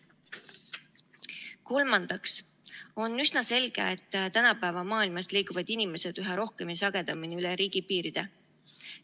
Kolmandaks on üsna selge, et tänapäeva maailmas liiguvad inimesed üha rohkem ja sagedamini üle riigipiiride.